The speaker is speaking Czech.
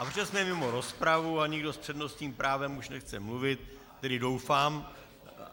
A protože jsme mimo rozpravu a nikdo s přednostním právem už nechce mluvit, tedy doufám...